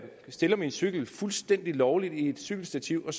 stiller min cykel fuldstændig lovligt i et cykelstativ og